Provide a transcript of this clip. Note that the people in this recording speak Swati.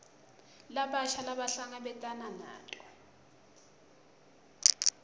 labasha labahlangabetana nato